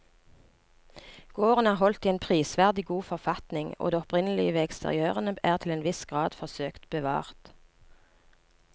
Gården er holdt i en prisverdig god forfatning og det opprinnelige ved eksteriørene er til en viss grad forsøkt bevart.